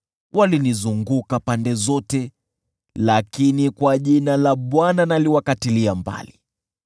Walinizunguka pande zote, lakini kwa jina la Bwana naliwakatilia mbali.